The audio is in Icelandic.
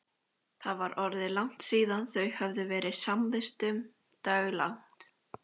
Það var orðið langt síðan þau höfðu verið samvistum daglangt.